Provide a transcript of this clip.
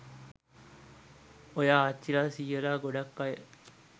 ඔය ආච්චිලා සීයලා ගොඩක් අය